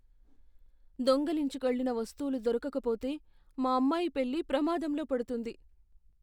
దొంగిలించుకెళ్ళిన వస్తువులు దొరకక పోతే, మా అమ్మాయి పెళ్లి ప్రమాదంలో పడుతుంది.